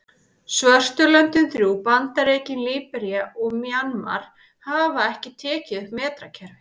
Svörtu löndin þrjú, Bandaríkin, Líbería og Mjanmar hafa ekki tekið upp metrakerfið.